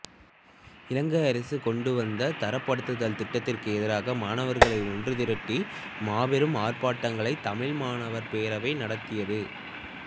இலங்கை அரசு கொண்டுவந்த தரப்படுத்தல் திட்டத்திற்கு எதிராக மாணவர்களை ஒன்று திரட்டி மாபெரும் ஆர்ப்பாட்டங்களைத் தமிழ் மாணவர் பேரவை நடாத்தியது